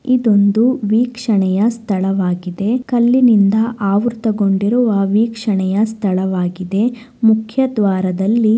ಇದೊಂದು ವೀಕ್ಷಣೆಯ ಸ್ಥಳವಾಗಿದೆ. ಕಲ್ಲಿನಿಂದ ಆವೃತ್ತಗೊಂಡಿರುವ ವೀಕ್ಷಣೆಯ ಸ್ಥಳವಾಗಿದೆ. ಮುಖ್ಯದ್ವಾರದಲ್ಲಿ--